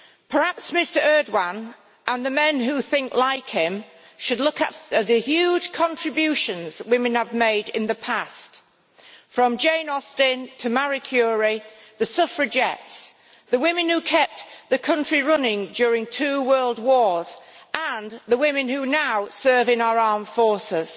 Perhaps Mr Erdogan and the men who think like him should look at the huge contributions that women have made in the past, from Jane Austen to Marie Curie, the Suffragettes, the women who kept the country running during two world wars and the women who now serve in our armed forces.